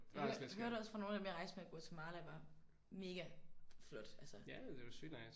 Hø hørte også fra nogle af dem jeg rejste med Guatemala var mega flot altså